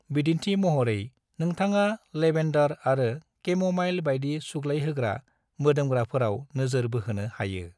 बिदिन्थि महरै, नोंथाङा लेबेन्डर आरो केम'माइल बायदि सुग्लायहोग्रा मोदोमग्राफोराव नोजोर बोहोनो हायो।